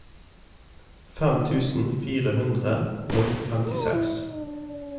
fem tusen fire hundre og femtiseks